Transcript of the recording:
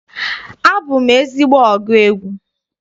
Abụ m ezigbo ọgụ egwu.